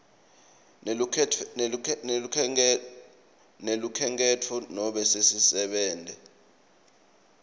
nelukhenkhetfo nobe sisebenti